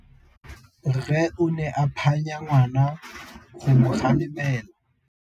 Rre o ne a phanya ngwana go mo galemela.